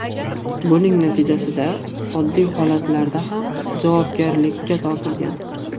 Buning natijasida oddiy holatlarda ham javobgarlikka tortilgan.